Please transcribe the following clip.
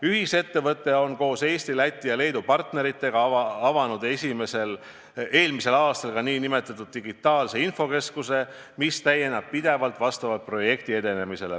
Ühisettevõte on koos Eesti, Läti ja Leedu partneritega avanud eelmisel aastal ka nn digitaalse infokeskuse, mis täieneb pidevalt vastavalt projekti edenemisele.